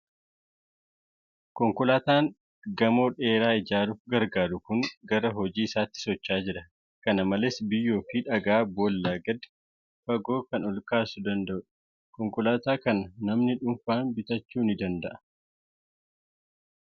Konkolaataan gamoo dheeraa ijaaruuf gargaaru kun gara hojii isaatti socho'aa jira. Kana malees, biyyoo fi dhagaa boolla gadi fagoo kan ol baasuu danda;u dha. Konkolaataa kana namni dhuunfaan bitachuu ni danda'aa?